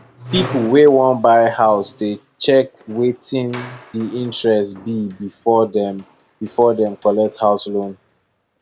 people wey wan buy house dey check wetin di interest be befor dem befor dem collect house loan